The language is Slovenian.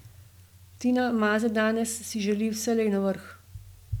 Tina Maze danes si želi vselej na vrh.